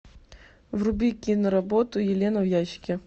вруби киноработу елена в ящике